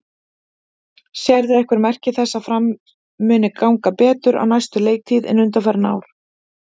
Sérðu einhver merki þess að Fram muni ganga betur á næstu leiktíð en undanfarin ár?